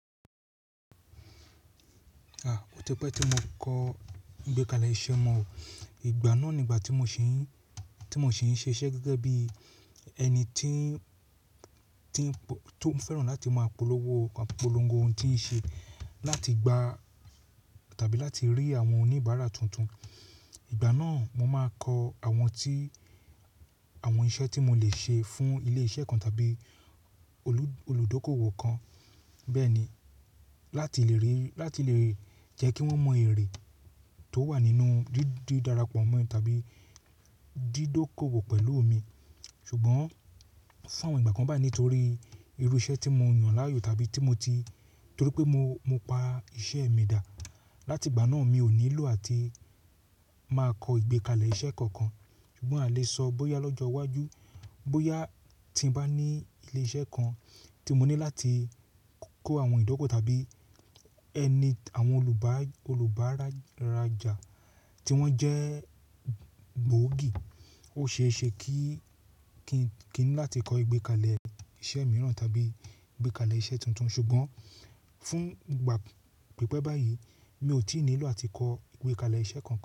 A, ó ti pẹ́ tí mo kọ ìgbékalẹ̀ iṣẹ́ mọ̀. Ìgbà náà ni ìgbà tí mo ṣì ń, tí mo ṣì ń ṣiṣẹ́ gẹ́gẹ́ bí ẹni tí ń, tí ń, tó ń fẹ́ràn láti máa polówó, polongo oun tí ń ṣe, láti gba tàbí láti rí àwọn oníbàárà tuntun. Ìgbà náà mo máa kọ àwọn tí, àwọn iṣẹ́ tí mo le ṣe fún ilé iṣẹ́ kan tàbí olùdókówò kan. Bẹ́ẹ̀ ni, láti lè rí, láti lè jẹ́ kí wọ́n mọ èrè tó wà nínú dídí darapọ̀ mọ́ ẹ tàbí dídókòwò pẹ̀lú mi. Ṣùgbọ́n fún awọ̀n ìgbà kan báyìí nítorí irú iṣẹ́ tí mo yàn láàyò tàbí tí mo ti, torí pé mo, mo pa iṣẹ́ mi dà. Láti ìgbà náà mi ò nílò àti máa kọ ìgbékalẹ̀ iṣẹ́ kankan. Ṣùgbọ́n a lè sọ bóyá lọ́jọ́ iwájú, bóyá tí ń bá ní ilé iṣẹ́ kan tí mo ní láti kó àwọn ìdókò tàbí ẹni, àwọn olùbá, olùbárajà tí wọ́n jẹ́ gbòógì. Ó ṣe é ṣe kí, kín, kín ní láti kọ ìgbékalẹ̀ iṣẹ́ mìíràn tàbí ìgbékalẹ̀ iṣẹ́ tuntun. Ṣùgbọ́n fún ìgbà pípẹ́ báyìí mi ò tí nílò àti kọ ìgbékalẹ̀ iṣẹ́ kankan.